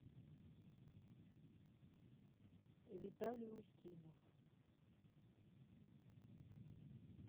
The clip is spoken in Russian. виталий устинов